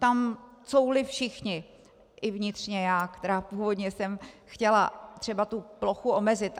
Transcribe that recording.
Tam couvli všichni, i vnitřně já, která původně jsem chtěla třeba tu plochu omezit.